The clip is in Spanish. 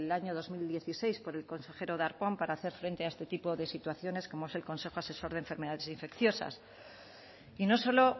año dos mil dieciséis por el consejero darpón para hacer frente a este tipo de situaciones como es el consejo asesor de enfermedades infecciosas y no solo